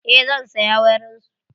Eh zan saya wurin su.